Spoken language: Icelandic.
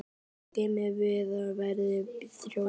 Bæði getum við verið þrjósk.